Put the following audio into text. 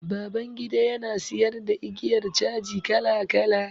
Babangida ya na siyar da igiyar caji kala kala.